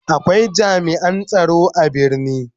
Akwai jami'an tsaro a birni.